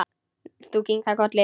Þú kinkar kolli.